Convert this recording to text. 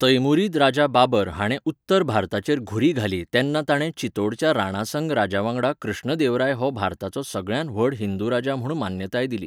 तैमुरीद राजा बाबर हाणें उत्तर भारताचेर घुरी घाली तेन्ना ताणें चितोडच्या राणासंग राजावांगडा कृष्णदेवराय हो भारताचो सगळ्यांत व्हड हिंदू राजा म्हूण मान्यताय दिली.